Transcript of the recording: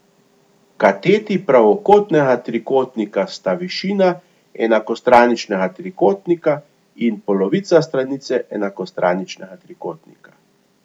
Kateti pravokotnega trikotnika sta višina enakostraničnega trikotnika in polovica stranice enakostraničnega trikotnika.